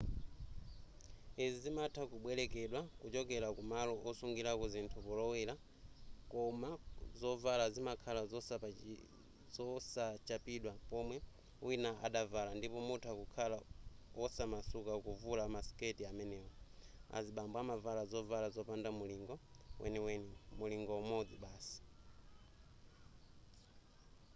izi zimatha kubwerekedwa kuchokera kumalo osungirako zinthu polowera koma zovala zimakhala zosachapidwa pomwe wina adavala ndipo mutha kukhala osamasuka kuvula masiketi amenewa azibambo amavala zovala zopanda mulingo weniweni mulingo umodzi basi